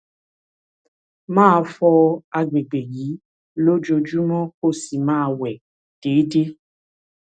máa fọ agbègbè yìí lójoojúmọ́ kó o sì máa wẹ̀ déédéé